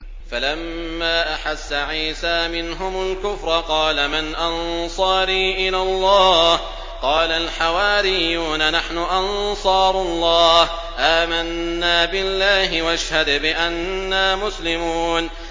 ۞ فَلَمَّا أَحَسَّ عِيسَىٰ مِنْهُمُ الْكُفْرَ قَالَ مَنْ أَنصَارِي إِلَى اللَّهِ ۖ قَالَ الْحَوَارِيُّونَ نَحْنُ أَنصَارُ اللَّهِ آمَنَّا بِاللَّهِ وَاشْهَدْ بِأَنَّا مُسْلِمُونَ